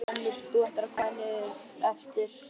Verksmiðjan brennur, þú ættir að koma þér niður eftir.